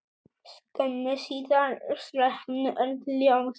Skömmu síðar slokknuðu öll ljós.